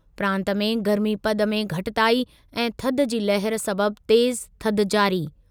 प्रांत में गर्मीपदु में घटिताई ऐं थधि जी लहर सबबि तेज़ु थधि जारी।